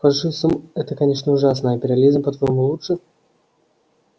фашизм это конечно ужасно а империализм по твоему лучше